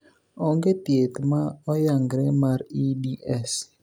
Ong'e thieth ma Oyang're mar EDS.